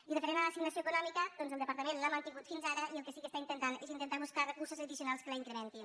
i referent a l’assignació econòmica el departament l’ha mantingut fins ara i el que sí que intenta és intentar buscar recursos addicionals que la incrementin